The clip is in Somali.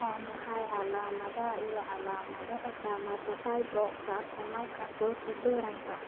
Waa maxay calaamadaha iyo calaamadaha Dermatofibrosarcomaka protuberanka